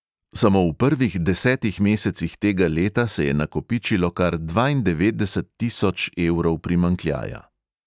Samo v prvih desetih mesecih tega leta se je nakopičilo kar dvaindevetdeset tisoč evrov primanjkljaja.